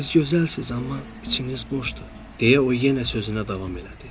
Siz gözəlsiniz, amma içiniz boşdur, deyə o yenə sözünə davam elədi.